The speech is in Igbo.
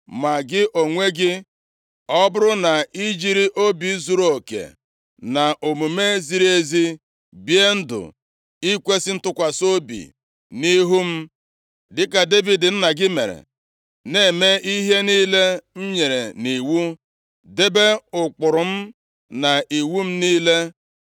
“Ma gị onwe gị, ọ bụrụ na ị jiri obi zuruoke na omume ziri ezi, bie ndụ nʼikwesị ntụkwasị obi nʼihu m dịka Devid nna gị mere, na-eme ihe niile m nyere nʼiwu, debe ụkpụrụ m na iwu m niile,